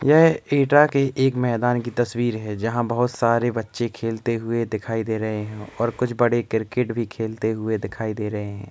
यह एटा के एक मैदान की तस्वीर है जहा बहोत सारे बचे खेलते हुए दिखाई दे रहे हे और कुछ बड़े क्रिकेट भी खेलते हुए दिखाई दे रहे हे।